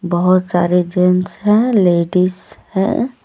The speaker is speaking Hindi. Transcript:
बहुत सारे जेंट्स हैं लेडीज हैं।